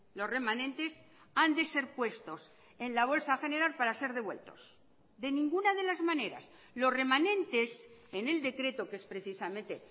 los remanentes han de ser puestos en la bolsa general para ser devueltos de ninguna de las maneras los remanentes en el decreto que es precisamente